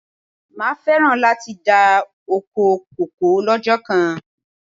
Máa féràn láti dá ọkọ kòkó lọ́jọ́ kan.